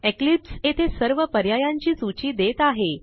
Eclipse येथे सर्व पर्यायांची सूची देत आहे